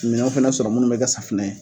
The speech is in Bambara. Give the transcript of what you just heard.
Minɛnw fana sɔrɔ minnu bɛ kɛ safunɛ ye.